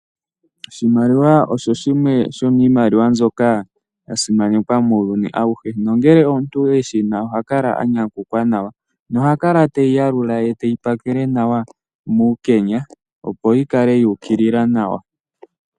Oshimaliwa osho shimwe shomiimaliwa mbyoka yasimanekwa muuyuni awuhe nangele omuntu eshina ohakala anyakukwa nawa na ohakala teyiyalula ye teyipakele nawa muukenya opo yikale yuukilila nawa.